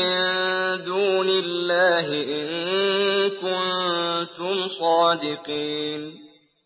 مِّن دُونِ اللَّهِ إِن كُنتُمْ صَادِقِينَ